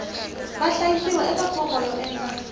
vahlayisiwa eka fomo yo endla